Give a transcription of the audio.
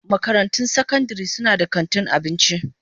Makarantun sakandare suna da kantin abinci.